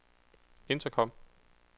intercom